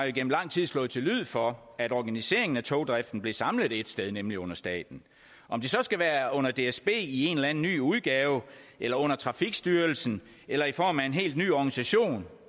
igennem lang tid slået til lyd for at organiseringen af togdriften blev samlet ét sted nemlig under staten om det så skal være under dsb i en eller anden ny udgave eller under trafikstyrelsen eller i form af en helt ny organisation